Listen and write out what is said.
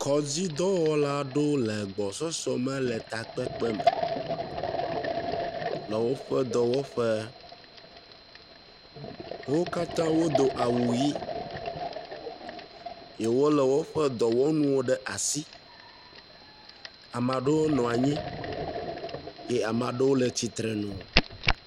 Kɔdzidɔwɔla aɖewo le agbɔsɔsɔ me le takpekpe me, le woƒe dɔwɔƒe. wo katã wodo awu ʋɛ̃, ye wolé woƒe dɔwɔnuwo ɖe asi. Amea ɖewo nɔ anyi eye amea ɖewo le tsitrenu.